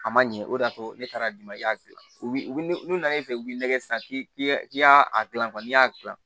A ma ɲɛ o de y'a to ne taara di n ma i y'a gilan u bi n'u nan'i fɛ yen u b'i lagɛ sisan k'i ya i y'a a gilan n'i y'a gilan